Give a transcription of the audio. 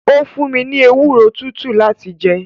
ó fún mi ní ewúro tútù láti jẹ.